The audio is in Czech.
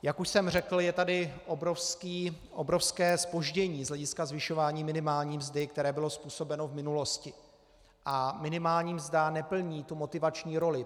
Jak už jsem řekl, je tady obrovské zpoždění z hlediska zvyšování minimální mzdy, které bylo způsobeno v minulosti, a minimální mzda neplní tu motivační roli.